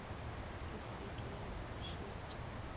le se ke la mpušetša